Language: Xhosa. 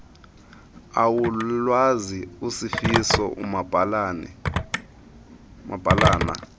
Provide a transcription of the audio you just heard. awulwazi usifiso umabhalana